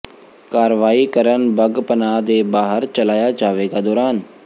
ਕਾਰਵਾਈ ਕਰਨ ਬੱਗ ਪਨਾਹ ਦੇ ਬਾਹਰ ਚਲਾਇਆ ਜਾਵੇਗਾ ਦੌਰਾਨ